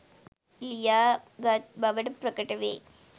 ලියා ගත් බවට ප්‍රකට වේ.